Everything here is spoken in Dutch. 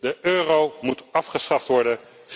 De euro moet afgeschaft worden.